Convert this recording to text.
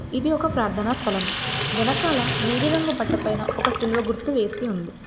ఇది ఒక ప్రార్థనా స్థలం. వెనకాల నీలి రంగు బట్ట పైన ఒక సిలువ గుర్తు వేసి ఉంది.